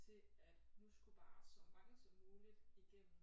Til at nu skulle bare så mange som muligt igennem